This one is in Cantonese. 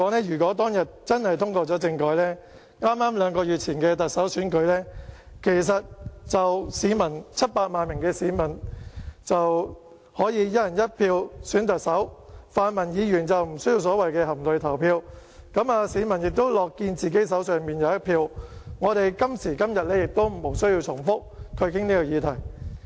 如果當天政改通過的話，在剛剛兩個月前的特首選舉中 ，700 萬名市民便可以"一人一票"選特首，泛民議員就不需要所謂的含淚投票，市民亦樂見自己手中有一票，我們今時今日亦不需要重複討論這個議題。